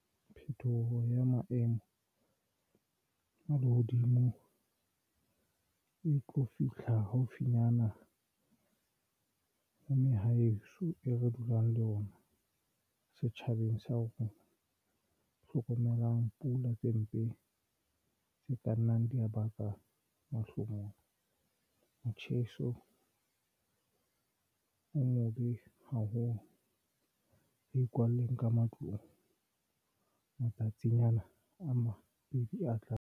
Phetoho ya maemo a lehodimo e tlo fihla haufinyana mane Haeso e re dulang le ona setjhabeng sa rona. Hlokomelang pula tse mpe tse ka nnang di ya baka mahlomola motjheso o mobe haholo. Re ikwalle ka matlung matsatsing ana a mabedi a tlang.